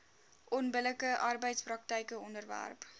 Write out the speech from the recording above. onbillike arbeidspraktyke onderwerp